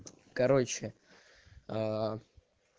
короче а